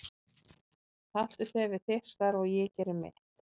Haltu þér við þitt starf og ég geri mitt.